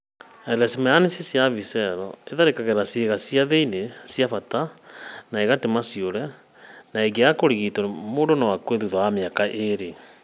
" Leishmaniasis ya visceral ĩtharagĩra ciĩga cia thĩinĩ cia bata na ĩgatũma ciũre, na ĩngĩaga kũrigitwo mũndũ no akue thutha wa mĩaka ĩĩrĩ.